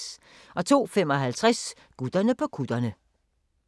02:55: Gutterne på kutterne